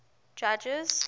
judges